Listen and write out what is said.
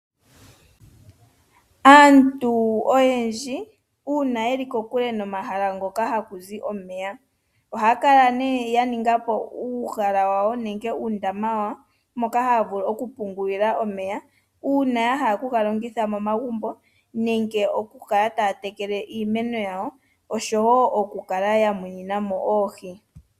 Aantu oyendji uuna yeli kokule nomahala ngoka haku zi omeya ohaakala nee yaningapo uuhala wawo nenge uundama wawo moka haavulu okupungulila omeya uuna yahala oku galanditha momagumbo, uuna yahala oku galongitha moma gumbo gawo nokukala woo yamuninamo oohi.